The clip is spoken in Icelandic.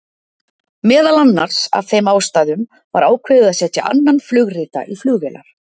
Meðal annars af þeim ástæðum var ákveðið að setja annan flugrita í flugvélar.